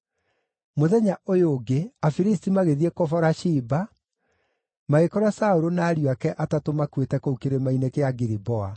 Mũthenya ũyũ ũngĩ, Afilisti magĩthiĩ kũbora ciimba, magĩkora Saũlũ na ariũ ake atatũ makuĩte kũu Kĩrĩma-inĩ kĩa Giliboa.